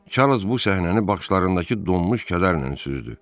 Çarlz bu səhnəni baxışlarındakı donmuş kədərlə süzdü.